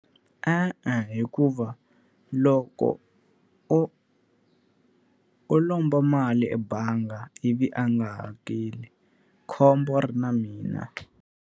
E-e, hikuva loko o o lomba mali ebangi ivi a nga hakeli, khombo ri na mina.